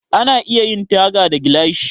Ana iya yin taga da gilashi.